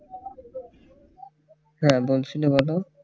হ্যাঁ বলছিলে বলো